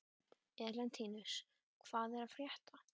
Elentínus, hvað er að frétta?